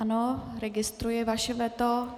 Ano, registruji vaše veto.